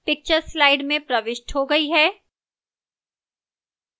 picture slide में प्रविष्ट हो गई है